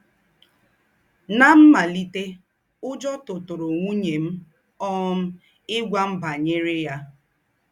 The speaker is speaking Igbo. Ná m̀màlìtè, ùjọ́ tùtùrụ̀ ńwùnyè m um ígwà m bányerè ya.